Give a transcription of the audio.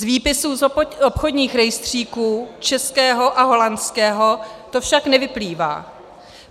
Z výpisů z obchodních rejstříků českého a holandského to však nevyplývá.